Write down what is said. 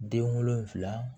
Den wolonfila